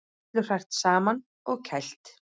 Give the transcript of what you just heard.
Öllu hrært saman og kælt